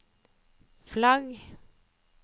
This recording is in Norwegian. flagg